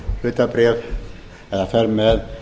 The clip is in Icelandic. hlutabréf eða fer með